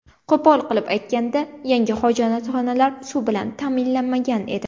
Qo‘pol qilib aytganda, yangi hojatxonalar suv bilan ta’minlanmagan edi.